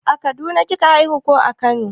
A kaduna kika haihu ko a kano?